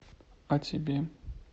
а тебе